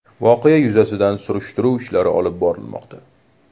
Voqea yuzasidan surishtiruv ishlari olib borilmoqda.